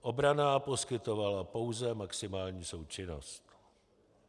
Obrana poskytovala pouze maximální součinnost.